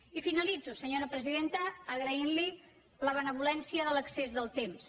i finalitzo senyora presidenta agraint li la benevolència de l’excés del temps